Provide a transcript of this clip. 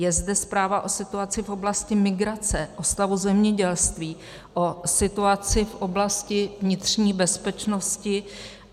Je zde zpráva o situaci v oblasti migrace, o stavu zemědělství, o situaci v oblasti vnitřní bezpečnosti.